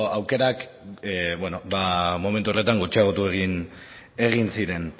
aukerak momentu horretan gutxiagotu egin ziren